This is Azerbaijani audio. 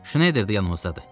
Şneyder də yanımızdadır.